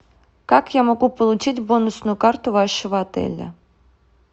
как я могу получить бонусную карту вашего отеля